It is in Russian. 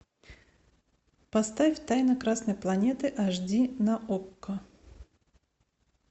поставь тайна красной планеты аш ди на окко